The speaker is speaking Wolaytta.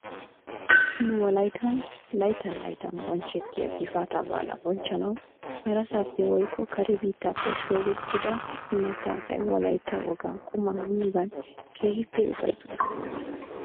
Nu wolayttan layttan layttan bonchchettiyaa gifaata baala bonchchanaw harasaappe woykko kare biittappe shoobettida imatta asay wolaytta wogaa qumaa miyoogan keehippe ufayttoosona.